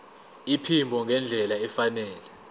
iphimbo ngendlela efanele